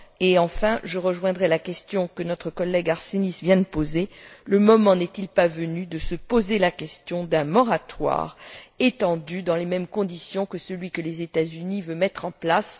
Et enfin, je rejoindrai la question que notre collègue Arsenis vient de poser le moment n'est il pas venu de se poser la question d'un moratoire étendu dans les mêmes conditions que celui que les États Unis veulent mettre en place?